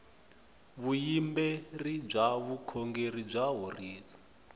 vuyimberi bya vukhongeri ya horisa